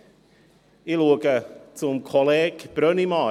Ich blicke dabei zu Kollege Brönnimann.